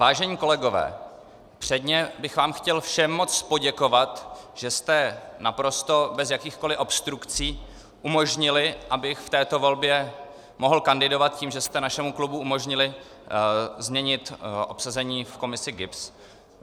Vážení kolegové, předně bych vám chtěl všem moc poděkovat, že jste naprosto bez jakýchkoli obstrukcí umožnili, abych v této volbě mohl kandidovat, tím, že jste našemu klubu umožnili změnit obsazení v komisi GIBS.